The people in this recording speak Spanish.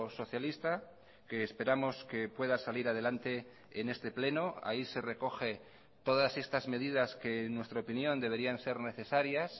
socialista que esperamos que pueda salir a delante en este pleno ahí se recoge todas estas medidas que en nuestra opinión deberían ser necesarias